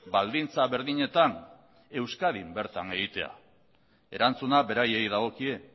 baldintza berdinetan euskadin bertan egitea erantzuna beraiei dagokie